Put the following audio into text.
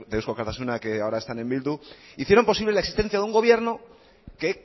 de eusko alkartasuna que ahora están en bildu hicieron posible la existencia de un gobierno que